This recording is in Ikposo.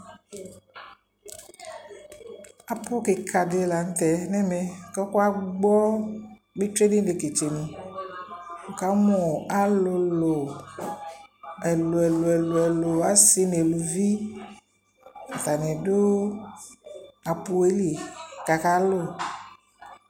Apʋ kɩka dɩ la n'tɛ n'ɛmɛ k'ɔka gbɔ betsue n'ileketsenu Wʋ kamʋ alʋlʋ ɛlʋ ɛlʋ ɛlʋ ɛlʋ, asɩ n'eluvi, atannɩ dʋ apʋ yɛ li k'aka lʋ